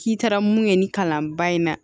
K'i taara mun ye nin kalan ba in na